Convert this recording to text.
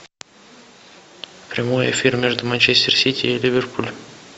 прямой эфир между манчестер сити и ливерпуль